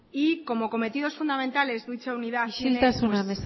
y como cometidos fundamentales de dicha unidad isiltasuna